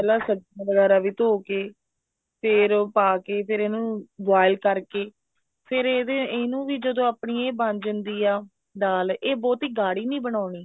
ਪਹਿਲਾਂ ਸਬਜੀਆਂ ਵਗੈਰਾ ਵੀ ਧੋ ਕੇ ਫ਼ੇਰ ਉਹ ਪਾ ਕੇ ਫ਼ੇਰ ਇਹਨੂੰ boil ਕਰਕੇ ਫ਼ੇਰ ਇਹਨੂੰ ਵੀ ਜਦੋਂ ਆਪਣੀ ਇਹ ਬਣ ਜਾਂਦੀ ਆ ਦਾਲ ਇਹ ਬਹੁਤੀ ਗਾੜੀ ਨੀ ਬਣਾਉਣੀ